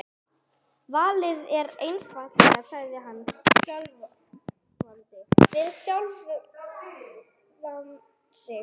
Valið er einfalt sagði hann skjálfandi við sjálfan sig.